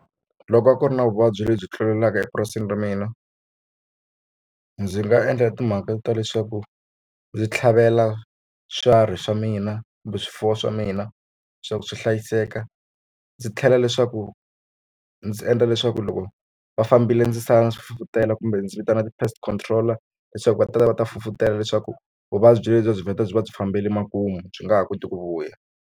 Loko a ku ri na vuvabyi lebyi tlulelaka epurasini ra mina ndzi nga endla timhaka ta leswaku ndzi tlhavela swiharhi swa mina kumbe swifuwo swa mina swa ku swi hlayiseka ndzi tlhela leswaku ndzi endla leswaku loko va fambile ndzi sala swi fufutela kumbe ndzi vitana ti-pests control leswaku va ta va ta fufutela leswaku vuvabyi lebyi byi vhela byi va byi fambele makumu byi nga ha koti ku vuya.